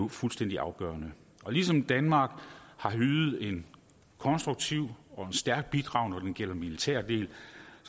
fuldstændig afgørende ligesom danmark har ydet et konstruktivt og et stærkt bidrag når det gælder militære del